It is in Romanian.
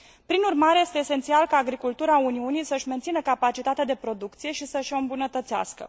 Prin urmare, este esențial ca agricultura Uniunii să și mențină capacitatea de producție și să și o îmbunătățească.